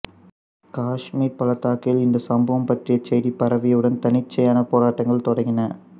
காசுமீர் பள்ளத்தாக்கில் இந்த சம்பவம் பற்றிய செய்தி பரவியவுடன் தன்னிச்சையான போராட்டங்கள் தொடங்கின